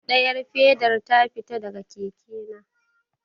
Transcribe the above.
Ɗayar fedar ta fita daga keke na.